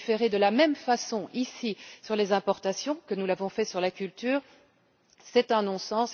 Légiférer de la même façon, ici, sur les importations que nous l'avons fait sur la culture, c'est un non sens.